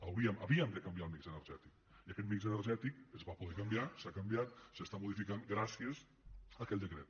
havíem de canviar el mix energètic i aquest mix energètic es va poder canviar s’ha canviat s’està modificant gràcies a aquell decret